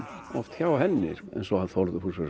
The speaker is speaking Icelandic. hjá henni sko eins og hann Þórður húsvörður